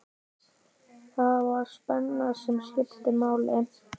Það var spennan sem skipti máli.